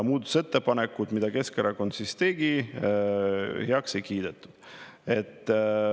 Muudatusettepanekuid, mis Keskerakond tegi, heaks ei kiidetud.